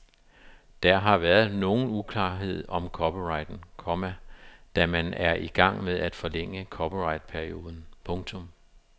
Der har været nogen uklarhed om copyrighten, komma da man er i gang med at forlænge copyrightperioden. punktum